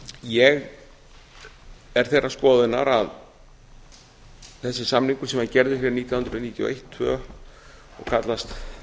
ég er þeirrar skoðunar að þessi samningur sem var gerður hér nítján hundruð níutíu og eitt nítján hundruð níutíu og tvö og kallast